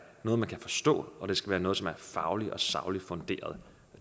noget man kan forstå og at det skal være noget som er fagligt og sagligt funderet